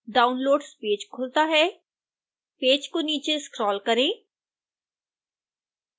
downloads page खुलता है page को नीचे स्क्रोल करें